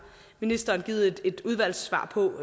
ministeren givet et udvalgssvar på